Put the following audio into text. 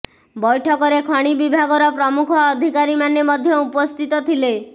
ବୈଠକରେ ଖଣି ବିଭାଗର ପ୍ରମୁଖ ଅଧିକାରୀମାନେ ମଧ୍ୟ ଉପସ୍ଥିତ ଥିଲେ